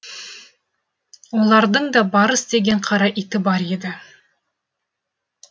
олардың да барыс деген қара иті бар еді